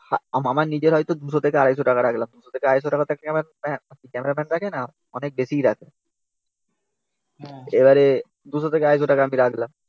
আমার নিজের হয়ত two hundred থেকে two hundred fifty টাকা রাখলাম two hundred fifty থেকে two hundred fifty টাকা তো ক্যামেরাম্যান তো রাখেনা অনেক বেশি রাখে এবারে আমি রাখলাম